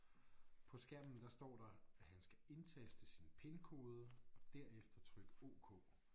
På skærmen der står der at han skal indtaste sin pinkode og derefter trykke ok